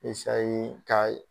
ka